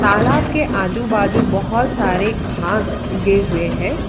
तालाब के आजू बाजू बहोत सारे घास उगे हुए हैं।